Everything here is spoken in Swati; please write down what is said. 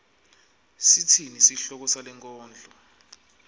sitsini sihloko salenkondlo